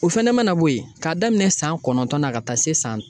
O fɛnɛ mana bɔ yen k'a daminɛ san kɔnɔntɔn na ka taa se san